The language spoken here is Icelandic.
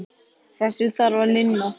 Þessu þarf að linna.